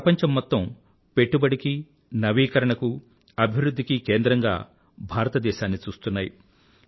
ప్రపంచం మొత్తం పెట్టుబడికీ నవీకరణకూ అభివృధ్ధి కీ కేంద్రంగా భారతదేశాన్ని చూస్తున్నాయి